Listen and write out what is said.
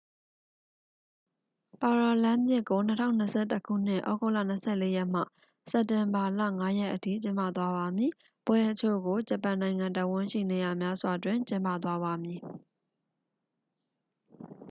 ပါရာလမ်းပစ်ကို 2021 ခုနှစ် သြဂုတ်လ 24 ရက်မှ စက်တင်ဘာလ 5 ရက်အထိ ကျင်းပသွားပါမည် ပွဲအချို့ကို ဂျပန်နိုင်ငံတစ်ဝှမ်းရှိ နေရာများစွာတွင် ကျင်းပသွားပါမည်